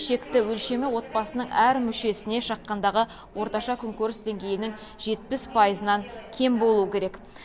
шекті өлшемі отбасының әр мүшесіне шаққандағы орташа күнкөріс деңгейінің жетпіс пайызынан кем болуы керек